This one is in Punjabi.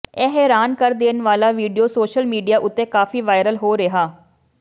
ਇਹ ਹੈਰਾਨ ਕਰ ਦੇਣ ਵਾਲਾ ਵੀਡੀਓ ਸੋਸ਼ਲ ਮੀਡੀਆ ਉੱਤੇ ਕਾਫੀ ਵਾਇਰਲ ਹੋ ਰਿਹਾ